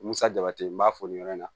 Musa jabati n b'a fo nin yɔrɔ in na